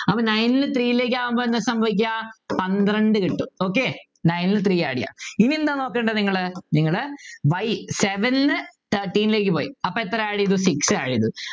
അപ്പൊ nine ൽ ന്നു three ലേക്ക് ആവുമ്പൊ എന്ന സംഭവിക്കുക പന്ത്രണ്ടു കിട്ടും okay nine ൽ ന്നു three add ചെയ്യാ ഇനി എന്താ നോക്കണ്ടേ നിങ്ങള് നിങ്ങള് y seven ന്നു thirteen ലേക്ക് പോയി അപ്പൊ എത്ര add ചെയ്ത് six add ചെയ്തു